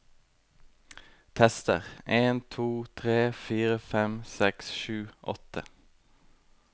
Tester en to tre fire fem seks sju åtte